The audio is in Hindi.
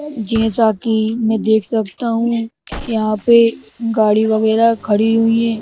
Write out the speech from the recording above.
जैसा कि मैं देख सकता हूँ यहाँ पे गाड़ी वगैरह खड़ी हुई है।